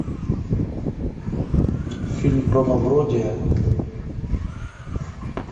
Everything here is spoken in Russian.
фильм про мавроди